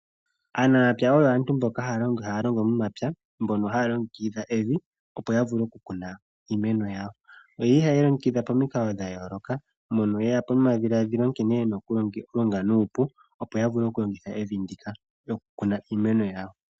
Aanamapya oyo aantu mboka haya longo momapya mbono haya longekidha evi opo yavule okukuna iimeno yawo. Ohaye li longekidha pamikalo dhayooloka mono yeya pamadhiladhilo nkene yena okulonga nuupu opo yavule okulongitha evi ndika noku kna iimeno yawo.